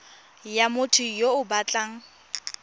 ya motho yo o batlang